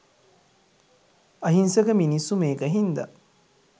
අහිංසක මිනිස්සු මේක හින්ද